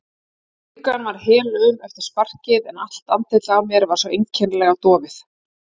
Bringan var helaum eftir sparkið en allt andlitið á mér var svo einkennilega dofið.